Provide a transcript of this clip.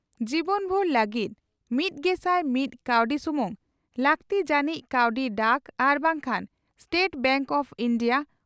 ᱡᱤᱵᱚᱱᱵᱷᱩᱨ ᱞᱟᱹᱜᱤᱫ ᱢᱤᱛᱜᱮᱥᱟᱭ ᱢᱤᱛ ᱠᱟᱣᱰᱤ ᱥᱩᱢᱩᱝ ᱾ᱞᱟᱹᱜᱛᱤ ᱡᱟᱹᱱᱤᱡ ᱠᱟᱹᱣᱰᱤ ᱰᱟᱠ ᱟᱨ ᱵᱟᱝᱠᱷᱟᱱᱥᱴᱮᱴ ᱵᱮᱝᱠ ᱚᱯᱷ ᱤᱱᱰᱤᱭᱟ